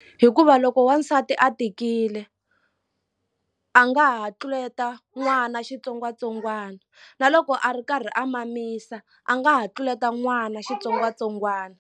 Hikuva loko wansati a tikile a nga ha tluleta n'wana xitsongwatsongwana na loko a ri karhi a mamisa a nga ha tluleta n'wana xitsongwatsongwana.